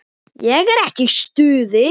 Ég er ekki í stuði.